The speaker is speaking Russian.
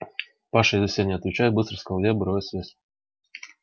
паша я за себя не отвечаю быстро сказал я обрывая связь